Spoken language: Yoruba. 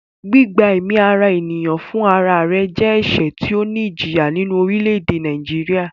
Gbígba ẹ̀mí ara ènìyàn fún ra re jẹ́ ẹ̀sẹ̀ tí ó ní ìjìyà nínú ní orílẹ̀-èdè Nàìjíríà